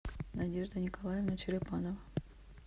надежда николаевна черепанова